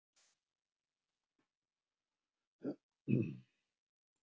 Tvo, þá liði henni illa, þrjá og hún skylfi eins og hrísla.